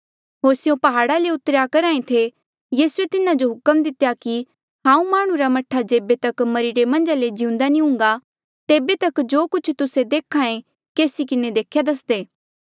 होर स्यों प्हाड़ा ले उतरेया करहा थे यीसूए तिन्हा जो हुक्म दितेया कि हांऊँ माह्णुं रा मह्ठा जेबे तक मरिरे मन्झा ले जिउंदा नी हूँगा तेबे तक जो कुछ तुस्से देख्या केसी किन्हें देख्या दसदे